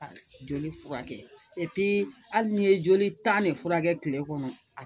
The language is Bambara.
Joli furakɛ hali n'i ye joli tan ne furakɛ kile kɔnɔ a